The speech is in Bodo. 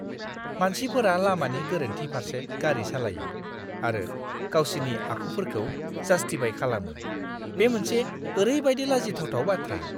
मानसिफोरा लामानि गोरोन्थि फारसे गारि सालायो आरो गावसिनि आखुफोरखौ जास्टिफाय खालामो, बे मोनसे ओरैबायदि लाजिथावथाव बाथ्रा!